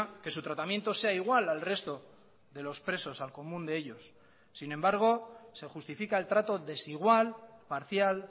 que su tratamiento sea igual al resto de los presos al común de ellos sin embargo se justifica el trato desigual parcial